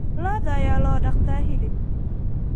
Lo'da ayaa loo dhaqdaa hilib.